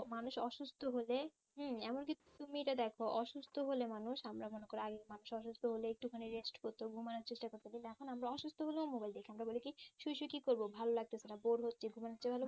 মানুষ অসুস্থ হলে হম এমনকি তুমি এইটা দেখ অসুস্থ হলে মানুষ আমরা মনে করি আগে মানুষ অসুস্থ হলে একটু খানি rest করত ঘুমানোর চেষ্টা করত কিন্তু এখন আমরা অসুস্থ হলেও mobile দেখি ওরা বলে কি শুয়ে শুয়ে কি করবো ভালো লাগতেসে না bore হচ্ছি ঘুমানোর ইচ্ছে